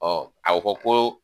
a fɔ ko.